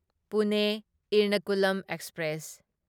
Pune Ernakulam express